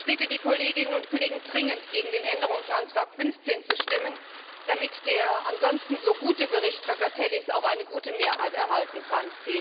Ich bitte die Kolleginnen und Kollegen dringend, gegen Änderungsantrag 15 zu stimmen, damit der ansonsten so gute Bericht Trakatellis auch eine gute Mehrheit erhalten kann.